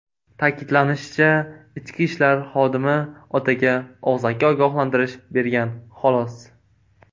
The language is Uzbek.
Ta’kidlanishicha, ichki ishlar xodimi otaga og‘zaki ogohlantirish bergan, xolos.